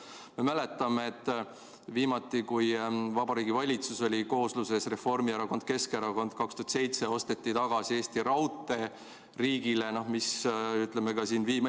Me mäletame, et viimati, kui Vabariigi Valitsus koosnes Reformierakonnast ja Keskerakonnast, 2007 osteti Eesti Raudtee riigile tagasi.